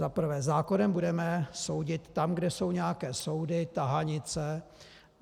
Za prvé, zákonem budeme soudit tam, kde jsou nějaké soudy, tahanice.